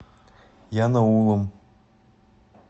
янаулом